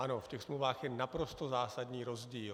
Ano, v těch smlouvách je naprosto zásadní rozdíl.